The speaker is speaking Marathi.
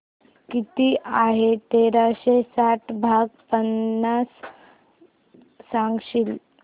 किती आहे तेराशे साठ भाग पन्नास सांगशील